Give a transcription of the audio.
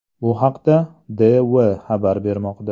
Bu haqda DW xabar bermoqda .